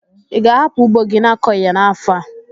Ị ga-ahapụ ugbo gị n'akọghi ya n'afọ a?